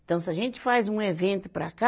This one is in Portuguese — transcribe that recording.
Então, se a gente faz um evento para cá,